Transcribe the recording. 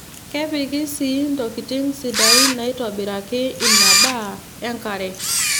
Kepiki sii ntokitin sidaain naaitobiraki ina daa enkare.